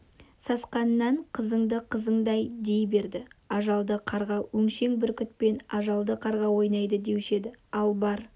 сасқанынан қызыңды қызыңды дей берді ажалды қарға өңшең бүркітпен ажалды қарға ойнайды деуші еді ал бар